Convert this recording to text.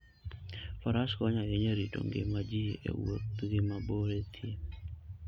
Faras konyo ahinya e rito ngima ji e wuodhgi mabor e thim.